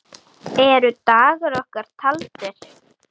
Eru dagar okkar taldir?